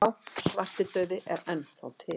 Já, svartidauði er enn þá til.